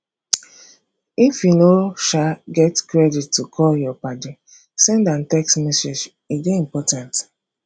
if you no um get credit to call your paddy send am text message e dey important